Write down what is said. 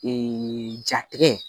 jatigɛ